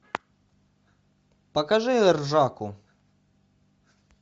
покажи ржаку